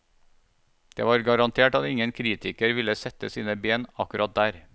Det var garantert at ingen kritiker ville sette sine ben akkurat der.